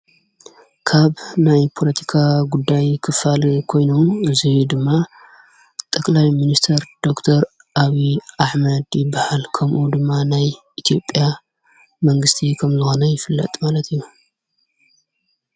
ካብ ናይ ፖለቲካ ጕዳይ ኽፋል ኮይኖ እዙይ ድማ ጠላይ ምንስተር ዶክተር ኣብይይ ኣሕማድ ይብሃል ከምኡ ድማ ናይ ኢቲዮጲያ መንግስቲ ሀምልኾኑ ይፍለጥ ማለት እዩ